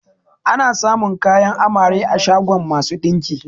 Ana samun kayan amare a shagon masu ɗinki